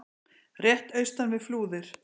rétt austan við Flúðir.